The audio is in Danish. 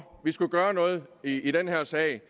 vi skulle gøre noget i den her sag